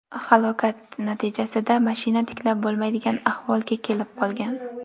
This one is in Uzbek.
Halokat natijasida mashina tiklab bo‘lmaydigan ahvolga kelib qolgan.